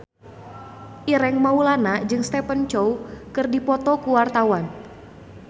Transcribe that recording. Ireng Maulana jeung Stephen Chow keur dipoto ku wartawan